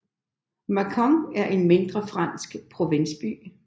Mâcon er en mindre fransk provinsby